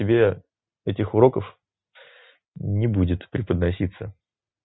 тебе этих уроков не будет преподноситься